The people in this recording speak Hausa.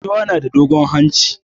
Giwa na da dogon hanci.